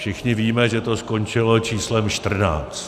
Všichni víme, že to skončilo číslem čtrnáct.